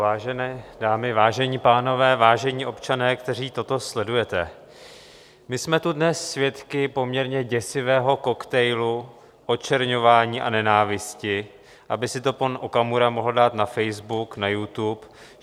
Vážené dámy, vážení pánové, vážení občané, kteří toto sledujete, my jsme tu dnes svědky poměrně děsivého koktejlu očerňování a nenávisti, aby si to pan Okamura mohl dát na Facebook, na YouTube.